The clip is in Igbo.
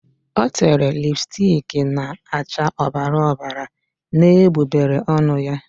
O tere lipstiki na-acha ọbara ọbara n'egbugbere ọnụ ya.